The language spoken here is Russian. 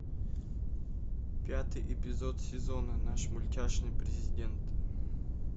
пятый эпизод сезона наш мультяшный президент